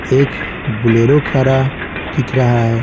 एक बुलेरो खारा दिख रहा है।